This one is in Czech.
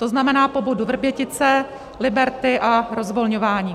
To znamená po bodu Vrbětice, Liberty a rozvolňování.